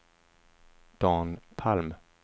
Dan Palm